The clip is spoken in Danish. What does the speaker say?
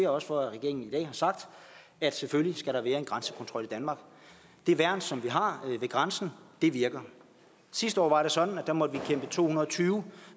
også for at regeringen i dag har sagt at selvfølgelig skal der være en grænsekontrol i danmark det værn som vi har ved grænsen virker sidste år var det sådan at der måtte vi kæmpe to hundrede og tyve